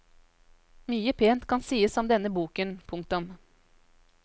Mye pent kan sies om denne boken. punktum